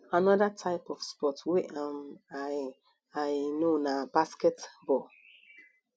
another type of sports wey um i i know na basket ball